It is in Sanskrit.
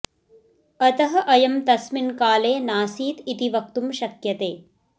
अतः अयं तस्मिन् काले नासीत् इति वक्तुं शक्यते